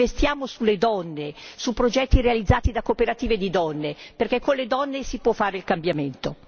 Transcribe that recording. Investiamo sulle donne, su progetti realizzati da cooperative di donne, perché con le donne si può fare il cambiamento.